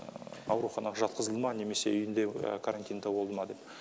ауруханаға жатқызылды ма немесе үйінде карантинда болды ма деп